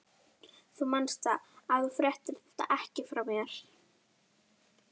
Þú manst það, að þú fréttir þetta ekki frá mér.